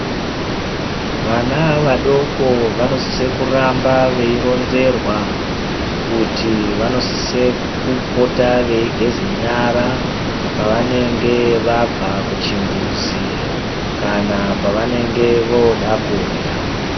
Vana vadoko vanosise kuramba veironzerwa kuti vanosise kupota veigeze nyara pavanenge vabva kuchimbuzi kana pavanenge voda kurya.